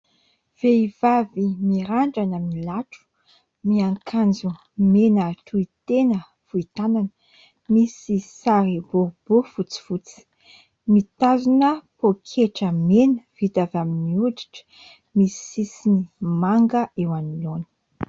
Vehivavy mirandrana milatro, miankanjo mena tohitena fohy tanana misy sary boribory fotsifotsy, mitazona pôketra mena vita avy amin'ny hoditra misy sisiny manga eo anoloana.